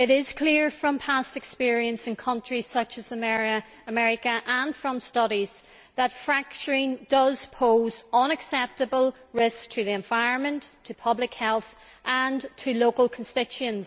It is clear from past experience in countries such as America and from studies that fracturing does pose unacceptable risks to the environment, to public health and to local constituents.